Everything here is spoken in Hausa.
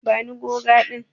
Bani goga din.